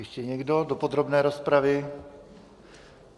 Ještě někdo do podrobné rozpravy?